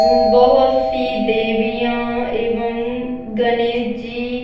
बहुत सी देवियाँ एवं गणेश जी --